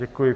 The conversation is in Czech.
Děkuji.